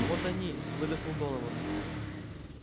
вот они выдохнул донован